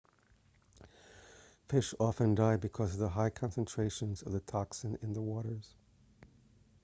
fish often die because of the high concentrations of the toxin in the waters